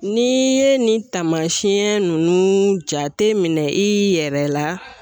N'i ye nin taamasiyɛn nunnu jateminɛ i yɛrɛ la